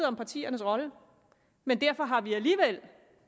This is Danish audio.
om partiernes rolle men derfor har vi alligevel